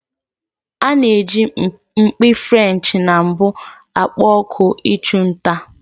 A na-eji mpi Frenchị na mbụ akpọ oku ịchụ nta.